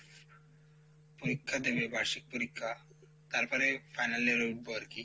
পরীক্ষা দিবে বার্ষিক পরীক্ষা তারপরে final year এ উঠবো আরকি,